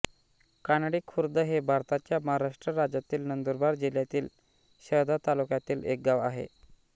कानडी खुर्द हे भारताच्या महाराष्ट्र राज्यातील नंदुरबार जिल्ह्यातील शहादा तालुक्यातील एक गाव आहे